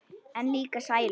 En líka sælu.